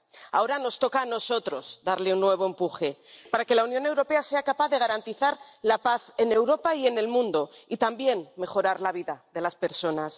Ahora nos toca a nosotros darle un nuevo empuje para que la Unión Europea sea capaz de garantizar la paz en Europa y en el mundo, y también mejorar la vida de las personas.